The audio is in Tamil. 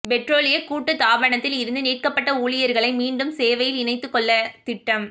பெற்றோலிய கூட்டுத்தாபனத்தில் இருந்து நீக்கப்பட்ட ஊழியர்களை மீண்டும் சேவையில் இணைத்துக்கொள்ள திட்டம்